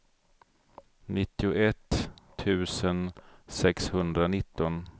nittioett tusen sexhundranitton